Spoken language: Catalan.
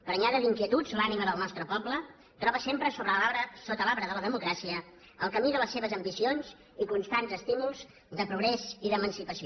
prenyada d’inquietuds l’ànima del nostre poble troba sempre sota l’arbre de la democràcia el camí de les seves ambicions i constants estímuls de progrés i d’emancipació